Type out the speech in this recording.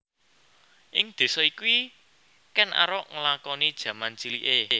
Ing désa iki Kèn Arok nglakoni jaman ciliké